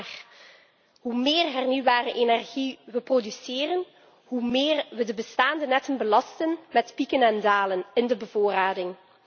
Maar hoe meer hernieuwbare energie we produceren, hoe meer we de bestaande netten belasten met pieken en dalen in de bevoorrading.